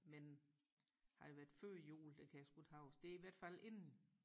men har det været før jul det kan jeg sku ikke huske det er i hvert fald inden